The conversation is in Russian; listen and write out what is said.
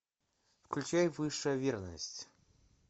включай высшая верность